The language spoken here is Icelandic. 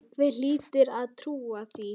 Einhver hlyti að trúa því.